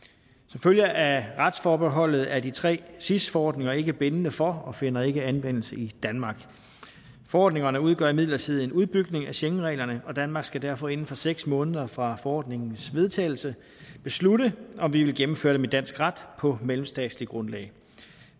følge af retsforbeholdet er de tre sis forordninger ikke bindende for og finder ikke anvendelse i danmark forordningerne udgør imidlertid en udbygning af schengenreglerne og danmark skal derfor inden for seks måneder fra forordningens vedtagelse beslutte om vi vil gennemføre det med dansk ret på mellemstatsligt grundlag